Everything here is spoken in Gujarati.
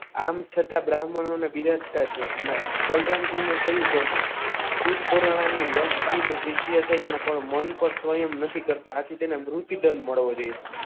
આમ છતાં બ્રાહ્મણોને બિરાજતા છે અને બલરામજી ને થયું કે શુદ્ધ પરાણાના વ્યાસજીના શિષ્ય થઈને અને મન પર સ્વયં નથી કરતા આથી તેને મૃતદંડ મળવો જોઈએ.